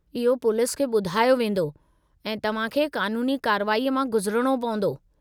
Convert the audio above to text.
इहो पुलिस खे ॿुधायो वेंदो, ऐं तव्हां खे क़ानूनी कार्रवाईअ मां गुज़रणो पवंदो।